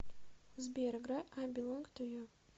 сбер играй ай белонг ту ю